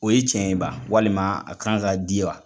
O ye cɛn ye ban walima a kan ka di wa